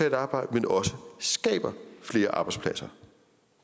et arbejde men også skaber flere arbejdspladser